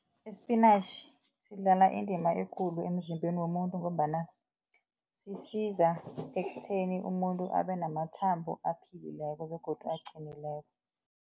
Isipinatjhi sidlala indima ekulu emzimbeni womuntu ngombana sisiza ekutheni umuntu abenamathambo aphilileko begodu aqinileko.